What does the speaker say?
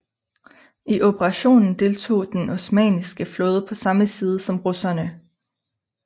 I operationen deltog Den osmanniske flåde på samme side som russerne